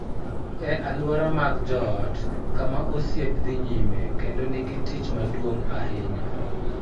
E alwora mag joot, kama osiep dhi nyime kendo nigi tich maduong� ahinya,